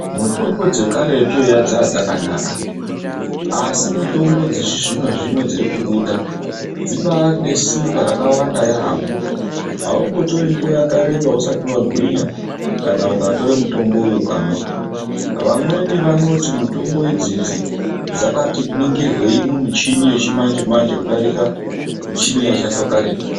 Mitombo dzekaretu eya dzaiva dzakanaka asimotombo yechizvino zvino irikubuda ibaari nesimba rakawnda yaamho autori nguwa yakareba usati wagwinya kana ukatora mitombo uyu ukamwa vamwemi vanoti mitombo idzi dzakatiningirwei mumuchini yechimanje manje kudarika michini yaishandiswa karetu.